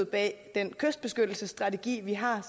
bag den kystbeskyttelsesstrategi vi har